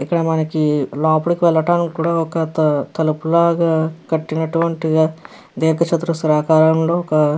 ఇక్కడ మనకి లోపలికి వెళ్ళటానికి కూడా ఒక త తలుపు లాగా కట్టి నటువంటి ధీర్ఘ చతురస్రాకారంలో ఒక --